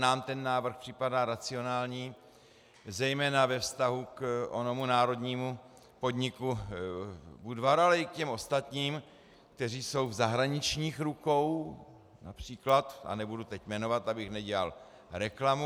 Nám ten návrh připadá racionální, zejména ve vztahu k onomu národnímu podniku Budvar, ale i k těm ostatním, kteří jsou v zahraničních rukou například, a nebudu teď jmenovat, abych nedělal reklamu.